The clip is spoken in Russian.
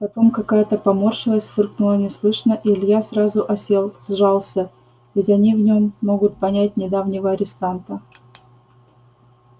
потом какая-то поморщилась фыркнула неслышно и илья сразу осел сжался ведь они в нем могут понять недавнего арестанта